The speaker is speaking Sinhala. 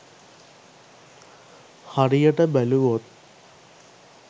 හරියට බැලුවොත්